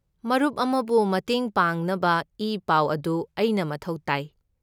ꯃꯔꯨꯞ ꯑꯃꯕꯨ ꯃꯇꯦꯡ ꯄꯥꯡꯅꯕ ꯏꯄꯥꯎ ꯑꯗꯨ ꯑꯩꯅ ꯃꯊꯧ ꯇꯥꯏ꯫